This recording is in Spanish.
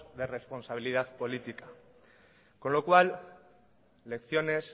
de responsabilidad política con lo cual lecciones